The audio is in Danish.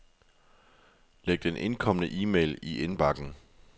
Læg den indkomne e-mail i indbakken.